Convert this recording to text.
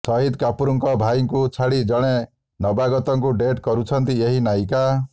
ଶାହିଦ୍ କପୁରଙ୍କ ଭାଇଙ୍କୁ ଛାଡି ଜଣେ ନବାଗତଙ୍କୁ ଡେଟ୍ କରୁଛନ୍ତି ଏହି ନାୟିକା